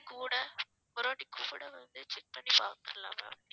கூட ஒரு வாட்டி கூட வந்து check பண்ணி பார்க்கலாம் ma'am